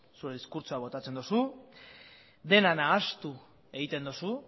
zure diskurtsoa botatzen duzu dena nahastu egiten duzu